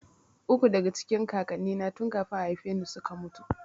Uku daka cikin kakannina tun kafin a haifeni suka mutu